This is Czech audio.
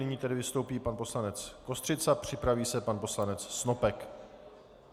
Nyní tedy vystoupí pan poslanec Kostřica, připraví se pan poslanec Snopek.